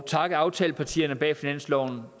takke aftalepartierne bag finansloven